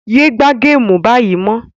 Yé gbá géèmù báyìí mọ́